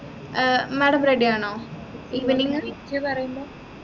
ഏർ madam ready ആണോ evening